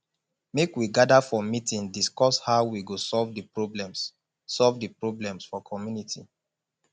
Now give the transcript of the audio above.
make we gather for meeting discuss how we go solve the problems solve the problems for community